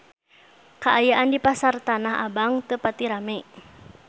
Kaayaan di Pasar Tanah Abang teu pati rame